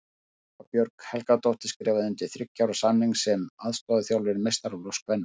Þóra Björg Helgadóttir skrifaði undir þriggja ára samning sem aðstoðarþjálfari meistaraflokks kvenna.